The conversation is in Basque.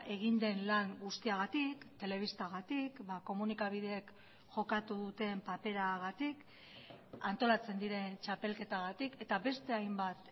egin den lan guztiagatik telebistagatik komunikabideek jokatu duten paperagatik antolatzen diren txapelketagatik eta beste hainbat